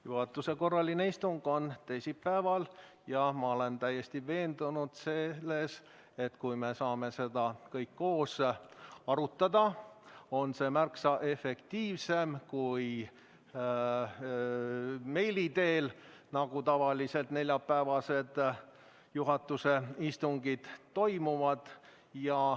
Juhatuse korraline istung on teisipäeval ja ma olen täiesti veendunud, et kui me saame seda kõik koos arutada, siis on see märksa efektiivsem kui meili teel, nagu tavaliselt neljapäevased juhatuse istungid toimuvad.